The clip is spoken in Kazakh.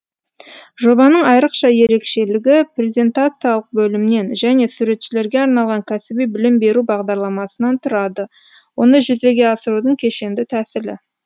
жобаның айрықша ерекшелігі презентациялық бөлімнен және суретшілерге арналған кәсіби білім беру бағдарламасынан тұрады оны жүзеге асырудың кешенді тәсілі